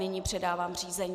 Nyní předávám řízení.